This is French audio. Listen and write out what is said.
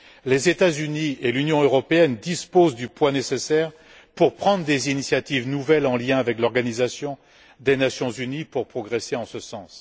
Les États Unis et l'Union européenne disposent du poids nécessaire pour prendre des initiatives nouvelles, en lien avec l'Organisation des Nations unies, pour progresser en ce sens.